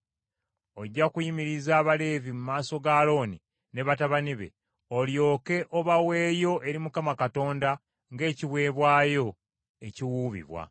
Ojja kuyimiriza Abaleevi mu maaso ga Alooni ne batabani be, olyoke obaweeyo eri Mukama Katonda ng’ekiweebwayo ekiwuubibwa.